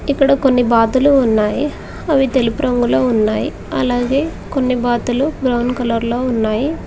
ఇక్కడ కొన్ని బాతులు ఉన్నాయి అవి తెలుపు రంగులో ఉన్నాయి అలాగే కొన్ని బాతులు బ్రౌన్ కలర్ లో ఉన్నాయి.